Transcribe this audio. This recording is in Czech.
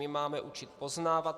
My máme učit poznávat.